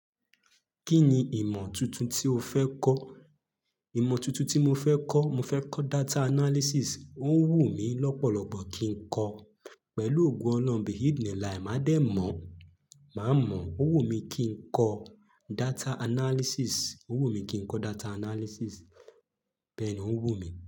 Kí ni ìmọ̀ tuntun tí o fẹ́ kọ́? Ìmọ̀ tuntun tí mo fẹ́ kọ́, mo fẹ́ kọ́ data analysis. Ó ń wù mí lọ́pọ̀lọ́pọ̀ kí ń kọ. Pẹ̀lú ògo ọlọ́un Bihid ni lahi, mádẹ mọ̀, má mọ̀. Ó wù mí kí ń kọ data analysis. Ó wù mí kí ń kọ data analysis. Bẹ́ẹ̀ ni ó ń wù mí.